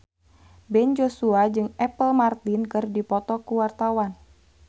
Ben Joshua jeung Apple Martin keur dipoto ku wartawan